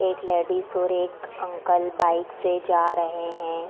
एक लेडीज और एक अंकल बाइक से जा रहे हैं।